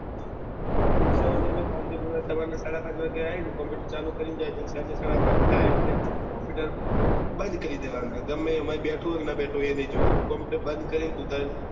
કાલ થી સાડા પાંચ વાગે આયી ને કોમ્પુટર ચાલુ કરીને જજે અને સાંજે સાડા પાંચ થયા એટલે કોમ્પુટર બંદ કરી દેવાના ગમે એમાં બેઠું હોય ન બેઠું હોય એ નહી જોવાના કોમ્પુટર બંદ કરી